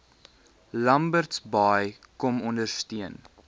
lambertsbaai kom ondersteun